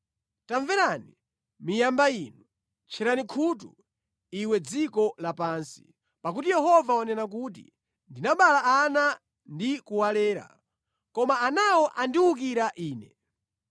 Tamverani, miyamba inu! Tchera khutu, iwe dziko lapansi! Pakuti Yehova wanena kuti, “Ndinabala ana ndi kuwalera, koma anawo andiwukira Ine.